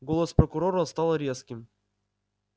голос прокурора стал резким